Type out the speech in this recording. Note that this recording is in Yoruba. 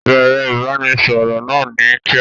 Bẹ̀ẹ̀rẹ̀ ìbánisọọ̀rọ̀ náà ni kíá.